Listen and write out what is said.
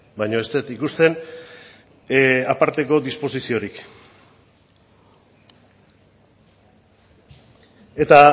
baina ez dut ikusten aparteko disposiziorik eta